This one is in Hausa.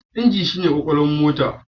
Inji shi ne kwakwalwar mota.